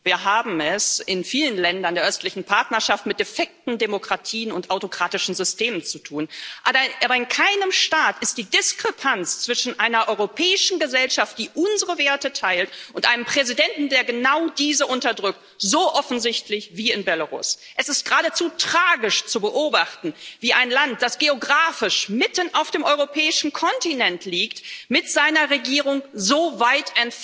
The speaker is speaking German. Herr Präsident, Hoher Vertreter, verehrte Kolleginnen und Kollegen! Wir haben es in vielen Ländern der östlichen Partnerschaft mit defekten Demokratien und autokratischen Systemen zu tun. Aber in keinem Staat ist die Diskrepanz zwischen einer europäischen Gesellschaft, die unsere Werte teilt, und einem Präsidenten, der genau diese unterdrückt, so offensichtlich wie in Belarus. Es ist geradezu tragisch zu beobachten, wie ein Land, das geografisch mitten auf dem europäischen Kontinent liegt, mit seiner Regierung so weit